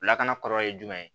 Lakana kɔlɔlɔ ye jumɛn ye